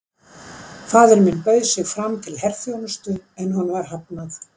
Faðir minn bauð sig fram til herþjónustu, en honum var hafnað.